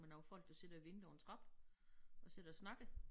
Med nogle folk der sidder og venter på en trappe og sidder og snakker